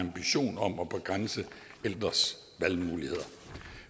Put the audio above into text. ambition om at begrænse ældres valgmuligheder